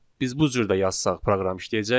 Biz bu cür də yazsaq proqram işləyəcək.